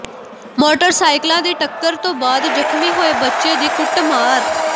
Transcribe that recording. ਮੋਟਰਸਾਈਕਲਾਂ ਦੀ ਟੱਕਰ ਤੋਂ ਬਾਅਦ ਜ਼ਖਮੀ ਹੋਏ ਬੱਚੇ ਦੀ ਕੁੱਟਮਾਰ